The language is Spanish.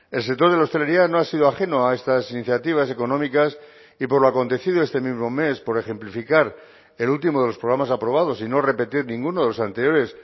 el sector de la hostelería no ha sido ajeno a estas iniciativas económicas y por lo acontecido este mismo mes por ejemplificar el último de los programas aprobados y no repetir ninguno de los anteriores